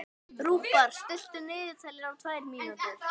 Rúbar, stilltu niðurteljara á tvær mínútur.